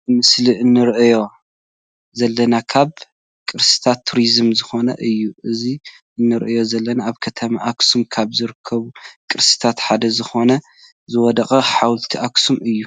ኣብዚ ምስሊ እንርእዮ ዘለና ካብ ቅርስታትን ቱሪዝምን ዝኮነ እዩ። እዚ እንርእዮ ዘለና ኣብ ከተማ ኣክሱም ካብ ዝርከቡ ቅርስታት ሓደ ዝኮነ ዝወደቀ ሓወልቲ ኣክሱም እዩ።